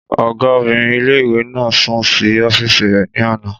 Ọgá obìnrin ilé-ìwé náà sùn sí ọ́fìsì rẹ̀ ní àná